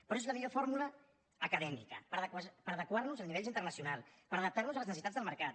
però és la millor fórmula acadèmica per adequar nos a nivells internacionals per adaptar nos a les necessitats del mercat